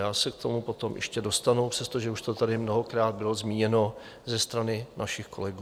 Já se k tomu potom ještě dostanu, přestože už to tady mnohokrát bylo zmíněno ze strany našich kolegů.